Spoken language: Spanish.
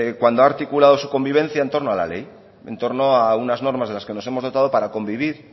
cuando ha articulado su convivencia en torno a la ley en torno a unas normas de las que nos hemos dotado para convivir